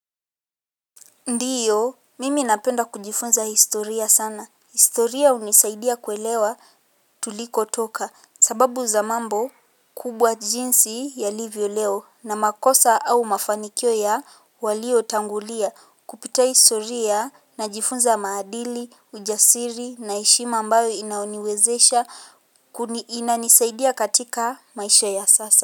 Ndiyo, mimi napenda kujifunza historia sana. Historia hunisaidia kuelewa tulikotoka. Sababu za mambo, kubwa jinsi yalivyo leo, na makosa au mafanikio ya waliotangulia. Kupitia historia, najifunza maadili, ujasiri, na heshima ambayo inaniwezesha, kuni ina nisaidia katika maisha ya sasa.